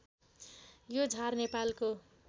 यो झार नेपालको